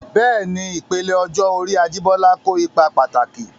Bẹ́ẹ̀ni, ìpele ọjọ́ orí Ajibola kó ipa pàtàkì.